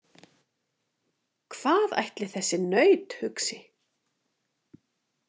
Hvað ætli þessi naut hugsi?